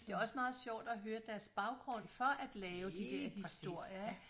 Det er også meget sjovt at høre deres baggrund for at lave de dér historier ik